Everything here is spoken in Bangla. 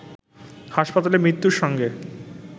হাসপাতালে মৃত্যুর সঙ্গে